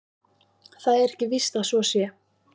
Það er ekki víst að svo sé.